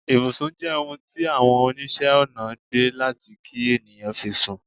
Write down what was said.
Ìbùsùn je ohun ti Awon onise Onà gbe lati ki eniyan fi sun